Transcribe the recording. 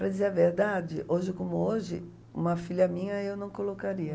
Para dizer a verdade, hoje como hoje, uma filha minha eu não colocaria.